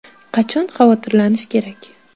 Qachon xavotirlanish kerak?